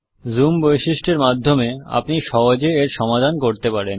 zoom বৈশিষ্টের মাধ্যমে আপনি সহজে এর সমাধান করতে পারেন